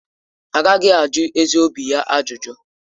Agaghị ajụ ezi obi ya ajụjụ.